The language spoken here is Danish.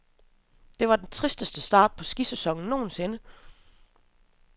Det var den tristeste start på skisæsonen nogensinde.